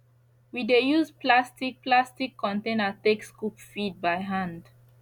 we dey use plastic plastic container take scoop feed by hand